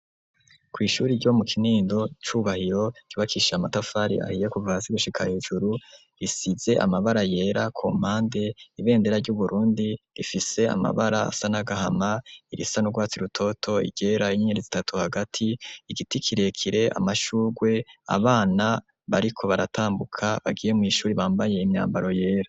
Kw'ishure ryo mu kinindo cubahiro ryubakishijwe amatafari ahiye kuva hasi gushika hejuru risize amabara yera ku mpande ibendera ry'uburundi rifise amabara asa nagahama irisa n'urwatsi rutoto igeretse gatatu hagati igiti kirekire amashugwe abana bariko baratambuka bagiye mw'ishure bambaye imyambaro yera.